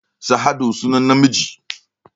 Sa'adu sunan namiji